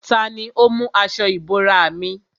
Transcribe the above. Tani ó mú aṣọ ìbora mi?